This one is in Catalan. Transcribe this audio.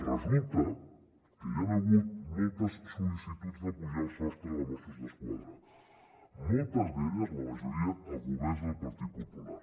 resulta que hi han hagut moltes sol·licituds de pujar el sostre de mossos d’esquadra moltes d’elles la majoria en governs del partit popular